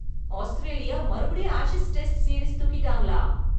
Australia மறுபடியும் Ashes test series தூக்கிட்டாங்களா!